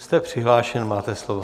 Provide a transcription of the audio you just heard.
Jste přihlášen, máte slovo.